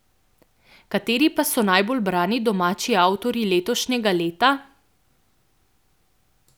Kateri pa so najbolj brani domači avtorji letošnjega leta?